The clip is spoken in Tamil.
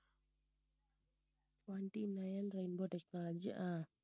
twenty-nine rainbow technology ah